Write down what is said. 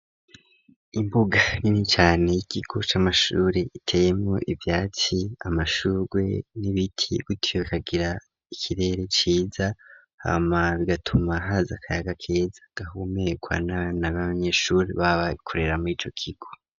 Imbuga ,ninicane y'ikigo c'amashuri iteyemwo ivyatsi ,amashurwe, n'ibiti gutyo kagira ikirere ciza, hama bigatuma haza akayaga keza, gahumeyekwa n'a banyeshuri baba ikorera mw'ico kigo.